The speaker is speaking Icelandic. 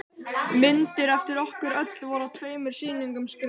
Myndir eftir okkur öll voru á tveimur sýningum skrifar hún.